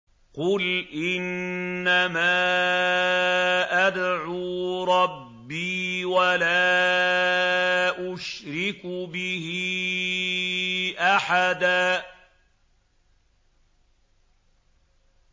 قُلْ إِنَّمَا أَدْعُو رَبِّي وَلَا أُشْرِكُ بِهِ أَحَدًا